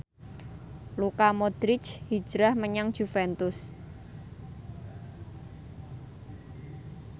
Luka Modric hijrah menyang Juventus